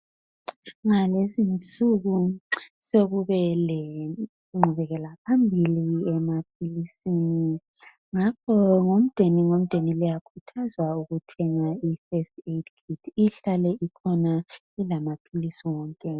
Ngalezi insuku sokube lengqubelaphambili emaphilisini ngakho umdeni ngomdeni liyakhuthazwa ukuthi lithenge ikhithi yosizo lwakuqala ukuze ihlale ikhona ilamaphilisi wonke.